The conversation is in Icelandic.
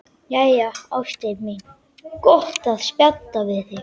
Jæja, ástin mín, gott að spjalla við þig.